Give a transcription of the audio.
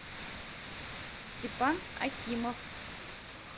степан акимов